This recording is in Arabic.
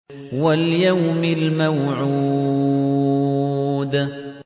وَالْيَوْمِ الْمَوْعُودِ